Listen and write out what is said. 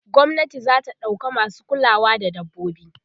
gwamnati zata ɗauka masu kulawa da dabbobi